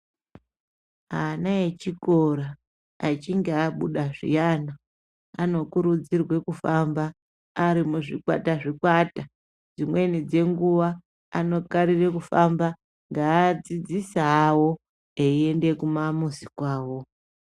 Ana echikora echinge abuda zviyana anokurudzirwa kufamba ari muzvikwata zvikwata dzimweni dzenguwa anokarira kufamba ngeadzidzisi awo echiende kumamuzi kwawo.